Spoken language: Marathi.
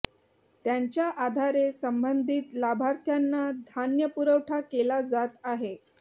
त्यांच्या आधारे संबंधित लाभार्थ्यांना धान्य पुरवठा केला जात आहे